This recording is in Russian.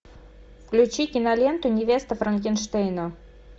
включи киноленту невеста франкенштейна